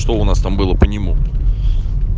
что у нас там было по нему